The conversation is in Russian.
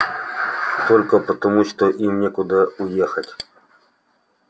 только потому что им некуда уехать